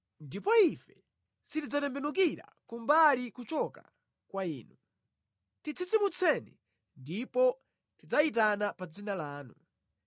Ndipo ife sitidzatembenukira kumbali kuchoka kwa Inu; titsitsimutseni ndipo tidzayitana pa dzina lanu.